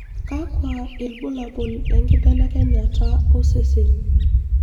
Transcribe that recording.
Kakwa ibulabul lenkibelekenyata osesen?